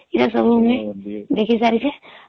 ଇଏ ସବୁ ମୁଇଁ ଦେଖି ସାରିଛେ